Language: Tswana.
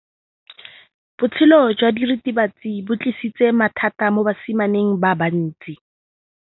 Botshelo jwa diritibatsi ke bo tlisitse mathata mo basimaneng ba bantsi.